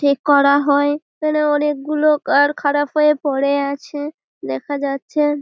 ঠিক করা হয়। এইখানে অনেকগুলো কার খারাপ হয়ে পরে আছে দেখা যাচ্ছে।